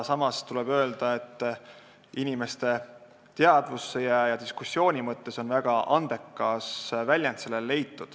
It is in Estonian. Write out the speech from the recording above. Samas tuleb öelda, et inimeste teadvusse jäämise ja diskussiooni mõttes on leitud väga andekas nimi.